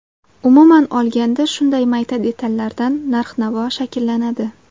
Umuman olganda, shunday mayda detallardan narx-navo shakllanadi.